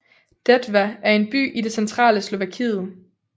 Detva er en by i det centrale Slovakiet